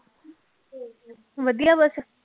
ਵਧੀਆ ਬਸ।